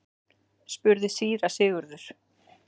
spurði síra Sigurður.